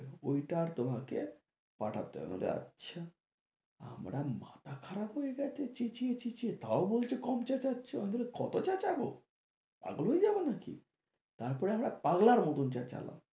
ওই টার তোমাকে পাঠাতে হবে বলছে আচ্ছা আমার মাথা খারাপ হয়ে গেছে চেঁচিয়ে চেঁচিয়ে তাও বলছে কম চেঁচাচ্ছ কত চেঁচাবো পাগল হয়ে যাবো নাকি, তারপরে আমরা পাগলার মতো চেঁচালাম